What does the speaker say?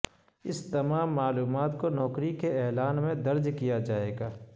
اس تمام معلومات کو نوکری کے اعلان میں درج کیا جائے گا